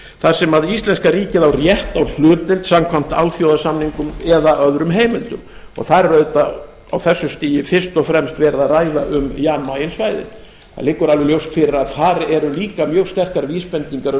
þar sem íslenska ríkið á rétt á hlutdeild samkvæmt alþjóðasamningum og öðrum heimildum það er auðvitað á þessu stigi fyrst og fremst verið að ræða um jan mayen svæðið það liggur alveg ljóst fyrir að þar eru líka mjög sterkar vísbendingar um